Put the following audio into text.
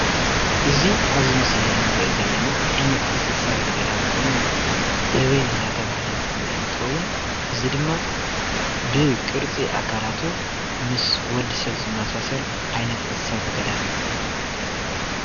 እዚ ኣብዚ ምስሊ እንሪኦ ዘለና ዓይነት እንስሳ ዘገዳም ኮይኑ ህበይ እንዳተባሀለ ዝፍለጥ ኮይኑ እዚ ድማ ብቅርፂ ኣካላቱ ምስ ወዲ ሰብ ዝማሳሰል ዓይነት እንስሳ ዘገዳምእዩ።